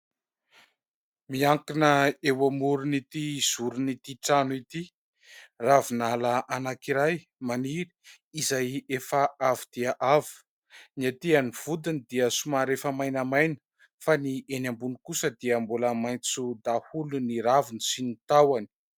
Miankina eo amoron' ity zorin'ity trano ity, ravinala anankiray maniry, izay efa av dia avo : ny aty amin' ny vodiny dia somary efa mainamaina fa ny eny ambony kosa dia mbola maintso daholo ny raviny sy ny tahony.